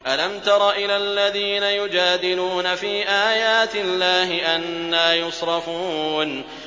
أَلَمْ تَرَ إِلَى الَّذِينَ يُجَادِلُونَ فِي آيَاتِ اللَّهِ أَنَّىٰ يُصْرَفُونَ